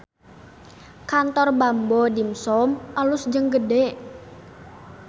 Kantor Bamboo Dimsum alus jeung gede